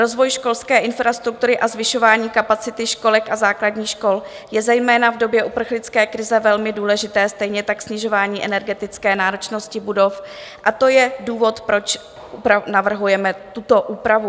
Rozvoj školské infrastruktury a zvyšování kapacity školek a základních škol jsou zejména v době uprchlické krize velmi důležité, stejně tak snižování energetické náročnosti budov, a to je důvod, proč navrhujeme tuto úpravu.